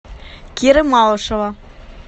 киры малышева